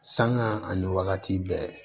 Sanŋa ani wagati bɛɛ